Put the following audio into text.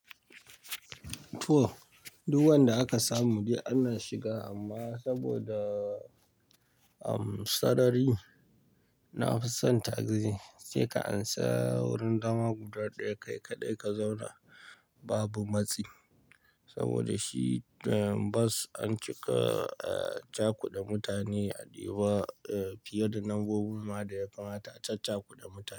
To, duk wanda aka samu dai ana shiga amma saboda, um, sarari na fi son taxi. Sai ka ansa wurin dama guda ɗaya kai kaɗai ka zauna babu matsi. Saboda shi, um, bus an cika, eh, cakuda mutane a Deba, eh, fiye da na nombobin ma da ya kamata a cakuda mutane.